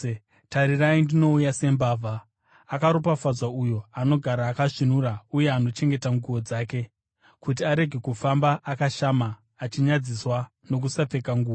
“Tarirai ndinouya sembavha? Akaropafadzwa uyo anogara akasvinura uye anochengeta nguo dzake, kuti arege kufamba akashama achinyadziswa nokusapfeka nguo.”